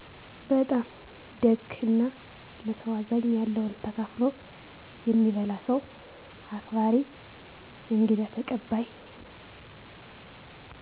በጣም ደግ እና ለሰዉ አዛኝ ያለዉን ተካፍሎ የሚበላ ሰዉ አክባሪ እንግዳ ተቀባይ